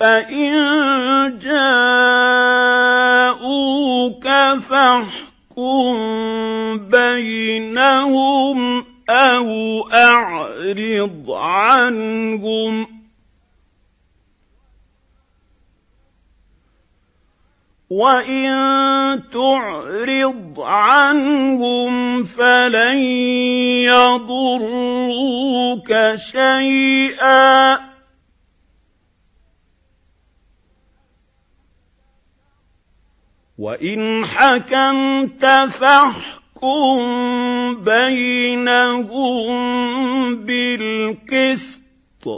فَإِن جَاءُوكَ فَاحْكُم بَيْنَهُمْ أَوْ أَعْرِضْ عَنْهُمْ ۖ وَإِن تُعْرِضْ عَنْهُمْ فَلَن يَضُرُّوكَ شَيْئًا ۖ وَإِنْ حَكَمْتَ فَاحْكُم بَيْنَهُم بِالْقِسْطِ ۚ